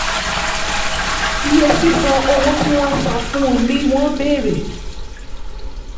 iye sísan: “owó tí wọ́n san fún...” ni wọ́n bẹ̀rẹ̀.